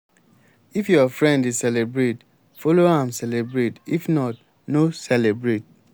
if your friend dey celebrate follow am celebrate if not no celebrate.